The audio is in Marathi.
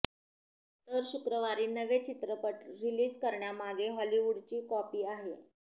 तर शुक्रवारी नवे चित्रपट रिलीज करण्यामागे हॉलीवूडची कॉपी आहे